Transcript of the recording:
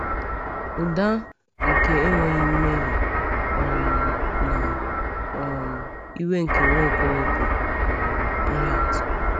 Ụda nke enweghị mmehie um na um iwe nke Nwaokolo bụ um ihe atụ.